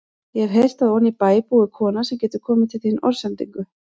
Ég hef heyrt að oní bæ búi kona sem getur komið til þín orðsendingu.